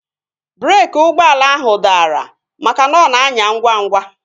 Breeki ụgbọala ahu dara makana ọ na anya ngwa ngwa